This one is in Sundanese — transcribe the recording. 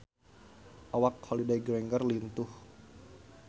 Awak Holliday Grainger lintuh